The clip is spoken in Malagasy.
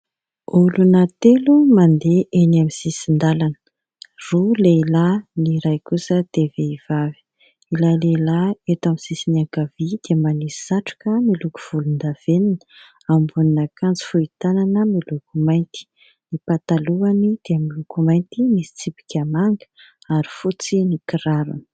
Olona telo mandeha eny amin'ny sisin-dalana roa lehilahy ny iray kosa vehivavy, ilay lehilahy eto amin'ny sisiny ankavia dia manisy satroka miloko volondavenona, ambonin'akanjo fohy tanana miloko mainty, ny patalohany dia miloko mainty misy tsipika manga ary fotsy ny kirarony.